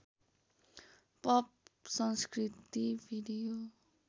pop संस्कृति video